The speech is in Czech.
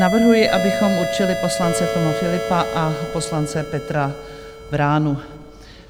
Navrhuji, abychom určili poslance Toma Philippa a poslance Petra Vránu.